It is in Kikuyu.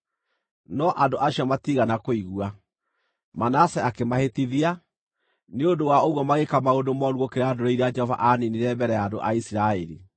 No andũ acio matiigana kũigua. Manase akĩmahĩtithia, nĩ ũndũ wa ũguo magĩĩka maũndũ mooru gũkĩra ndũrĩrĩ iria Jehova aaniinĩire mbere ya andũ a Isiraeli.